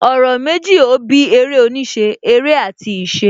Ọ̀rọ̀ méjì ó bí eré oníṣẹ́; Eré àti ìṣe